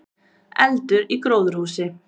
Eldur í gróðurhúsi